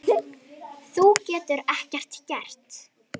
Við komum bara rétt áðan